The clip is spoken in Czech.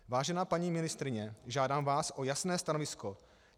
Vážená paní ministryně, žádám vás o jasné stanovisko.